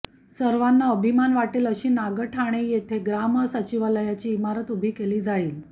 सर्वांना अभिमान वाटेल अशी नागठाणे येथे ग्रामसचिवालयाची इमारत उभी केली जाईल